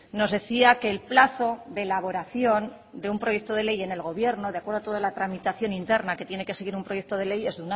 nos decía que el plazo de elaboración de un proyecto de ley en el gobierno de acuerdo a toda la tramitación interna que tiene que seguir un proyecto de ley es